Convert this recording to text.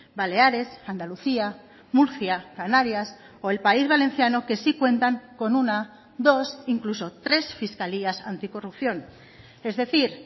baleares andalucía murcia canarias o el país valenciano que sí cuentan con una dos incluso tres fiscalías anticorrupción es decir